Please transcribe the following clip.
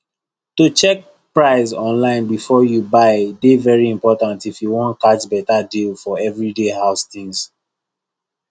to check price online before you buy dey very important if you wan catch better deal for everyday house things